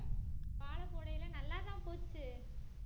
வாழ போடையில நல்லாதான் போச்சு